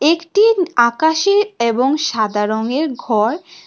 একটি আকাশী এবং সাদা রঙের ঘর।